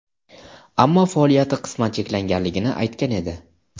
ammo faoliyati qisman cheklanganligini aytgan edi.